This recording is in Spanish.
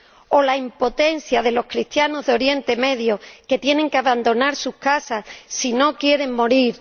¿O la impotencia de los cristianos de Oriente Próximo que tienen que abandonar sus casas si no quieren morir?